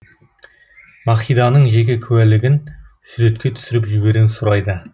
махиданың жеке куәлігін суретке түсіріп жіберуін сұрайды